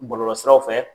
Bɔlɔlɔsiraw fɛ